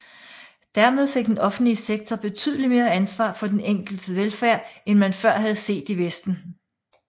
Dermed fik den offentlige sektor betydeligt mere ansvar for den enkeltes velfærd end man før havde set i vesten